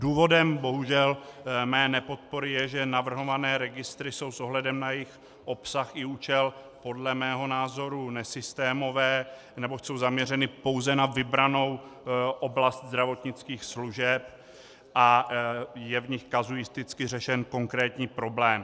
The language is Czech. Důvodem, bohužel, mé nepodpory je, že navrhované registry jsou s ohledem na jejich obsah i účel podle mého názoru nesystémové, neboť jsou zaměřeny pouze na vybranou oblast zdravotnických služeb a je v nich kazuisticky řešen konkrétní problém.